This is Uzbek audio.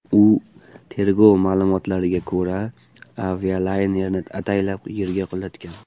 U, tergov ma’lumotlariga ko‘ra, avialaynerni ataylab yerga qulatgan.